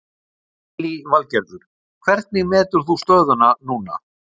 Lillý Valgerður: Hvernig metur þú stöðuna núna?